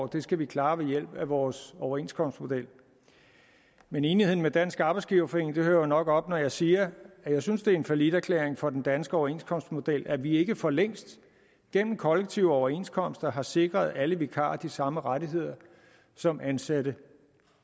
det skal vi klare ved hjælp af vores overenskomstmodel med enigheden med dansk arbejdsgiverforening hører jo nok op når jeg siger at jeg synes det er en falliterklæring for den danske overenskomstmodel at vi ikke for længst gennem kollektive overenskomster har sikret alle vikarer de samme rettigheder som ansatte